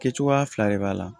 Kɛ cogoya fila de b'a la